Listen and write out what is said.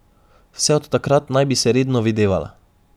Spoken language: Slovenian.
Vse od takrat naj bi se redno videvala.